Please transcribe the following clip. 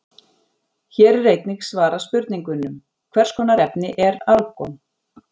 Hér er einnig svarað spurningunum: Hvers konar efni er argon?